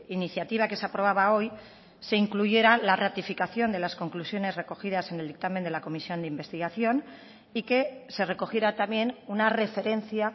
iniciativa que se aprobaba hoy se incluyera la ratificación de las conclusiones recogidas en el dictamen de la comisión de investigación y que se recogiera también una referencia